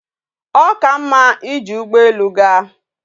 O ka mma ije ugbo elu gaa?